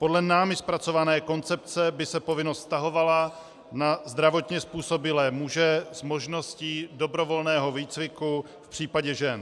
Podle námi zpracované koncepce by se povinnost vztahovala na zdravotně způsobilé muže s možností dobrovolného výcviku v případě žen.